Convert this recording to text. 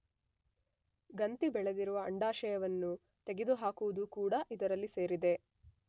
ಗಂತಿ ಬೆಳೆದಿರುವ ಅಂಡಾಶಯವನ್ನು ತೆಗೆದು ಹಾಕುವುದು ಕೂಡ ಇದರಲ್ಲಿ ಸೇರಿದೆ.